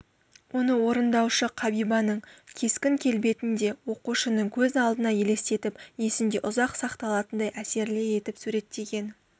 оны орындаушы қабибаның кескін-келбетін де оқушының көз алдына елестетіп есінде ұзақ сақталатындай әсерлі етіп суреттеген